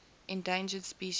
endangered species act